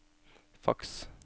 faks